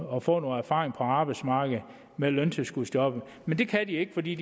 og får noget erfaring på arbejdsmarkedet med løntilskudsjobbet men det kan de ikke for de